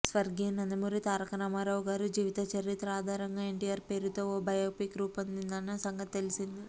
స్వర్గీయ నందమూరి తారక రామారావు గారి జీవిత చరిత్ర ఆధారంగా ఎన్టీఆర్ పేరోతో ఓ బయోపిక్ రూపొందనున్న సంగతి తెలిసిందే